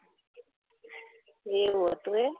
એવું હતું એમ